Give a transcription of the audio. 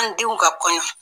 An denw ka kɔɲɔ